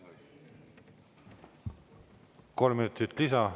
Kolm minutit lisaaega.